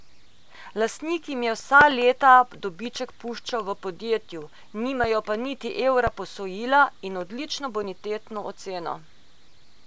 Lastnik jim je vsa leta dobiček puščal v podjetju, nimajo pa niti evra posojila in odlično bonitetno oceno.